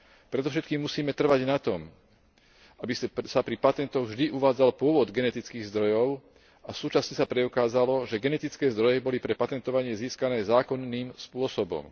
Predovšetkým musíme trvať na tom, aby sa pri patentoch vždy uvádzal pôvod genetických zdrojov a súčasne sa preukázalo, že genetické zdroje boli pre patentovanie získané zákonným spôsobom.